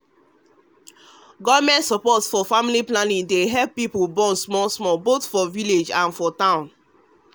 government support for family planning dey help people born small smallboth for village and for for town.